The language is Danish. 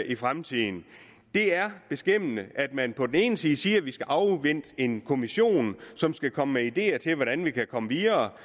i fremtiden det er beskæmmende at man på den ene side siger at vi skal afvente en kommission som skal komme med ideer til hvordan vi kan komme videre